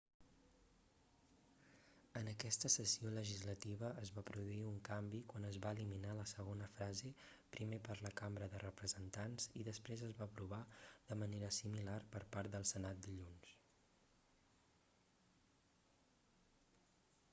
en aquesta sessió legislativa es va produir un canvi quan es va eliminar la segona frase primer per la cambra de representants i després es va aprovar de manera similar per part del senat dilluns